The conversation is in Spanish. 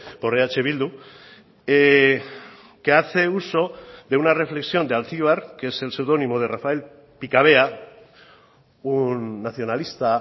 por eh bildu que hace uso de una reflexión de alcibar que es el pseudónimo de rafael picavea un nacionalista